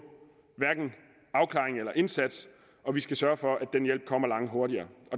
hverken afklaring eller indsats og vi skal sørge for at den hjælp kommer langt hurtigere